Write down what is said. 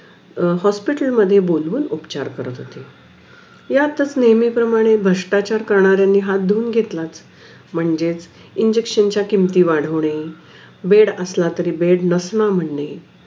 Hospital मध्ये बोलून उपचार करत होते यातच नेमही प्रमाणे भ्रष्ट्राचार करणारे हि हाथ धोवुन घेतलाच म्हणजेच Injection च्या किमती वाढवणे बेड असला तरी बेड नसला म्हणणे